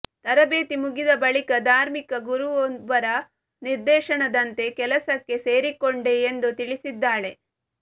ತರಬೇತಿ ಮುಗಿದ ಬಳಿಕ ಧಾರ್ಮಿಕ ಗುರುವೊಬ್ಬರ ನಿರ್ದೇಶನದಂತೆ ಕೆಲಸಕ್ಕೆ ಸೇರಿಕೊಂಡೆ ಎಂದು ತಿಳಿಸಿದ್ದಾಳೆ